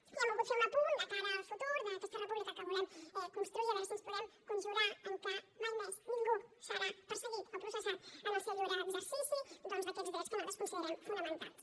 i hem volgut fer un apunt de cara al futur d’aquesta república que volem construir i a veure si ens podem conjurar perquè mai més ningú sigui perseguit o processat en el seu lliure exercici doncs d’aquests drets que nosaltres considerem fonamentals